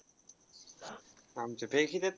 आमच्या फेकी